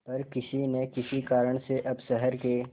पर किसी न किसी कारण से अब शहर के